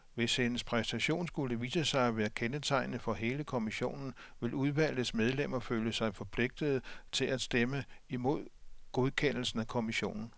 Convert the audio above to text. Hvis hendes præstation skulle vise sig at være kendetegnende for hele kommissionen, vil udvalgets medlemmer føle sig forpligtede til at stemme imod godkendelsen af kommissionen.